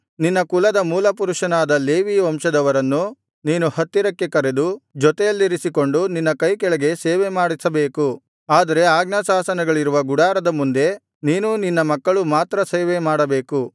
ನಿನ್ನ ಕುಲದ ಮೂಲಪುರುಷನಾದ ಲೇವಿ ವಂಶದವರನ್ನು ನೀನು ಹತ್ತಿರಕ್ಕೆ ಕರೆದು ಜೊತೆಯಲ್ಲಿರಿಸಿಕೊಂಡು ನಿನ್ನ ಕೈಕೆಳಗೆ ಸೇವೆಮಾಡಿಸಬೇಕು ಆದರೆ ಆಜ್ಞಾಶಾಸನಗಳಿರುವ ಗುಡಾರದ ಮುಂದೆ ನೀನೂ ನಿನ್ನ ಮಕ್ಕಳೂ ಮಾತ್ರ ಸೇವೆಮಾಡಬೇಕು